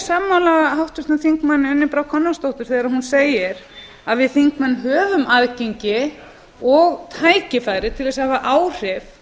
sammála háttvirtum þingmann unni brá konráðsdóttur þegar hún segir að við þingmenn höfum aðgengi og tækifæri til að hafa áhrif